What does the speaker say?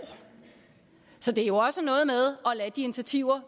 så det er jo også noget med at lade de initiativer